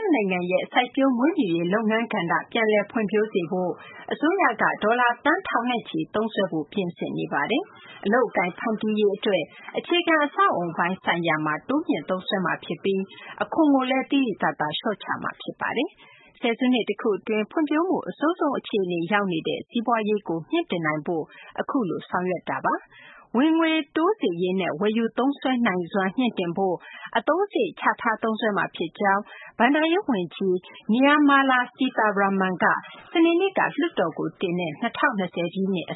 ယနိုင်ငံရဲ့ စိုက်ပျိုးမွေးမြူရေး လုပ်ငန်းကဏ္ဍ ပြန်လည်ဖွံ့ဖြိုးစေဖို့အတွက် အစိုးရက ဒေါ်လာသန်းထောင်နဲ့ချီ သုံးစွဲဖို့ ပြင်ဆင်နေပါတယ်။ အလုပ်အကိုင်တွေ ဖန်တီးရေးအတွက် အခြေခံ အဆောက်အအုံပိုင်း ဆိုင်ရာမှာ တိုးမြှင့်သုံးစွဲမှာဖြစ်ပြီး အခွန်ကိုလည်း သိသိသာသာ လျှော့ချမှာ ဖြစ်ပါတယ်။ ဆယ်စုနှစ်တခုအတွင်း ဖွံ့ဖြိုးမှုအဆိုးဆုံး အခြေအနေရောက်နေတဲ့ စီးပွားရေးကို မြှင့်တင်နိုင်ဖို့ အခုလို ဆောင်ရွက်တာလည်း ဖြစ်ပါတယ်။ ဝင်ငွေတိုးစေရေးနဲ့ ဝယ်ယူသုံးစွဲနိုင်စွမ်း မြှင့်တင်ဖို့ အသုံးစရိတ် ချထားသုံးစွဲမှာ ဖြစ်ကြောင်း ဘဏ္ဍာရေးဝန်ကြီး Nirmala Sitharaman က ၂၀၂၀ ပြည့်နှစ် အ